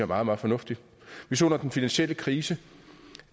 meget meget fornuftigt vi så under den finansielle krise